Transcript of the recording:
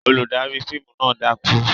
Olùdarí fíìmù náà dákú?